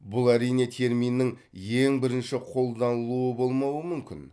бұл әрине терминнің ең бірінші қолданылуы болмауы мүмкін